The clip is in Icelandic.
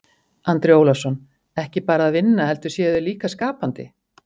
Andri Ólafsson: Ekki bara að vinna heldur séu þeir líka skapandi?